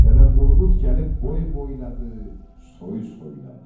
Dədəm Qorqud gəlib boy boyladı, soy soyladı.